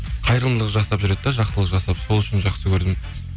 қайырымдылық жасап жүреді де жақсылық жасап сол үшін жақсы көрдім